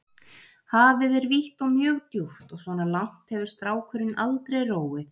Hafið er vítt og mjög djúpt og svona langt hefur strákurinn aldrei róið.